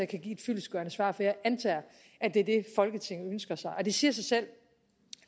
kan give et fyldestgørende svar for jeg antager at det er det folketinget ønsker sig det siger sig selv